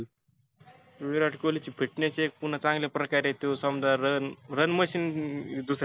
विराट कोल्हीची fitness एक पुन्हा चांगल्या प्रकारे त्यो समजा run run machine दुसरा.